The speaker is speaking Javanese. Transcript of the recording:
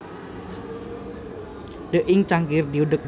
Teh ing cangkir diudek